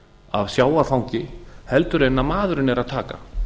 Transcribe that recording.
af sjávarfangi heldur en maðurinn er að taka